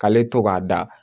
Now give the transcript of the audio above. K'ale to k'a da